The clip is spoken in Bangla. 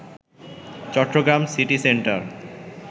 Chittagong city centre